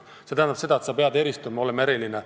See tähendab seda, et sa pead eristuma, olema eriline.